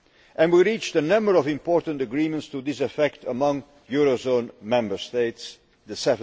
and we reached a number of important agreements to this effect among the eurozone Member States, the